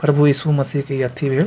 प्रभु यीशु मसीह के इ अथी भेल --